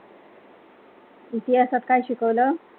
इतिहासात काय शिकवलं.